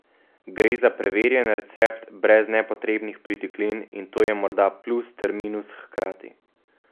Gre za preverjen recept, brez nepotrebnih pritiklin in to je morda plus ter minus hkrati.